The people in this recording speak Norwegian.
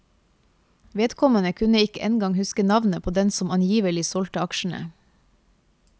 Vedkommende kunne ikke engang huske navnet på den som angivelig solgte aksjene.